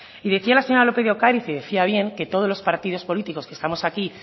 y decía la señora lópez de ocariz y decía bien que todos los partidos políticos que estamos aquí